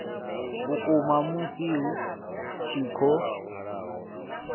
vhukuma musi hu tshi khou